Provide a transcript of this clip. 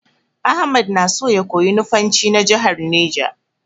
Ahmad na so ya koyi Nufanci na jahar Neja.